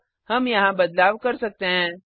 अब हम यहाँ बदलाव कर सकते हैं